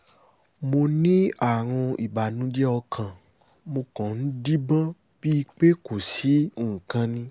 mo ní àrùn ìbànújẹ́ ọkàn mo kàn ń díbọ́n bíi pé kò sí nǹkan ni